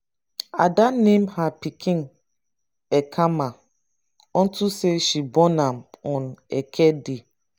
ada name her pikin ekemma unto say she born am on eke day.